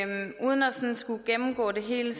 skulle gennemgå det hele